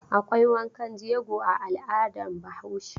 Akwai wankan jego a al'adar Bahaushe.